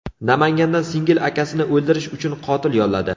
Namanganda singil akasini o‘ldirish uchun qotil yolladi.